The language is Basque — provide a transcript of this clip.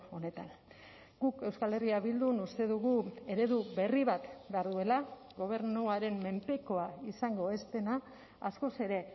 honetan guk euskal herria bildun uste dugu eredu berri bat behar duela gobernuaren menpekoa izango ez dena askoz ere